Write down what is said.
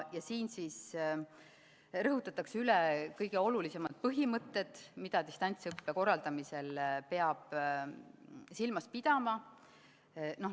Selles rõhutatakse üle kõige olulisemad põhimõtted, mida distantsõppe korraldamisel peab silmas pidama.